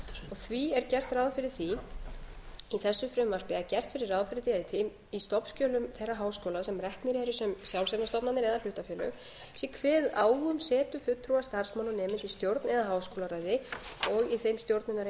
því er gert ráð fyrir því í þessu frumvarpi að gert verði ráð fyrir því að í stofnskjölum þeirra háskóla sem reknir eru sem sjálfseignarstofnanir eða hlutafélög sé kveðið á um setu fulltrúa starfsmanna og nemenda í stjórn eða háskólaráði og í þeim stjórnunareiningum þar sem fjallað erum kennslu og